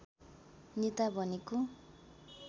नेता भनेको